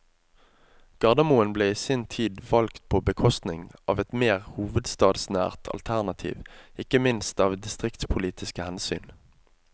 Gardermoen ble i sin tid valgt på bekostning av et mer hovedstadsnært alternativ ikke minst av distriktspolitiske hensyn.